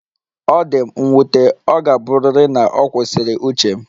Ọ dị m nwute, ọ ga-abụrịrị na ọ kwụsịrị uche m